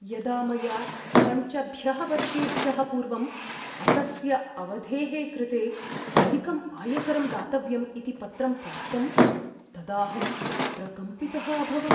यदा मया पञ्चभ्यः वर्षेभ्यः पूर्वम् अकस्य अवधेः कृते अधिकम् आयकरं दातव्यम् इति पत्रं प्राप्तम्, तदाहं प्रकम्पितः अभवम्।